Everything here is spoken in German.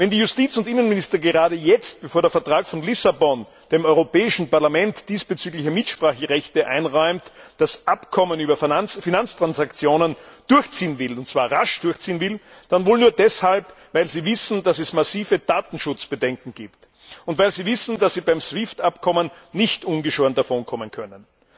Wenn die Justiz und Innenminister gerade jetzt, bevor der Vertrag von Lissabon dem Europäischen Parlament diesbezügliche Mitspracherechte einräumt, das Abkommen über Finanztransaktionen durchziehen wollen, und zwar rasch durchziehen wollen, dann wohl nur deshalb, weil sie wissen, dass es massive Datenschutzbedenken gibt, und weil sie wissen, dass sie beim SWIFT Abkommen nicht ungeschoren davonkommen können.